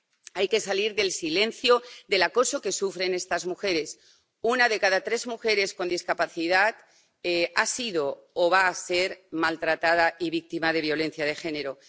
Hay que salir del silencio del acoso que sufren estas mujeres una de cada tres mujeres con discapacidad ha sido o va a ser maltratada y víctima de violencia de género.